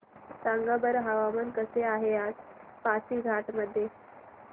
सांगा बरं हवामान कसे आहे आज पासीघाट मध्ये